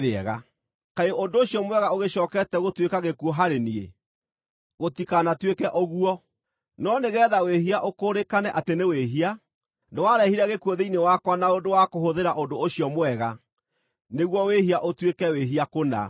Kaĩ ũndũ ũcio mwega ũgĩcookete gũtuĩka gĩkuũ harĩ niĩ? Gũtikanatuĩke ũguo! No nĩgeetha wĩhia ũkũũrĩkane atĩ nĩ wĩhia, nĩwarehire gĩkuũ thĩinĩ wakwa na ũndũ wa kũhũthĩra ũndũ ũcio mwega, nĩguo wĩhia ũtuĩke wĩhia kũna.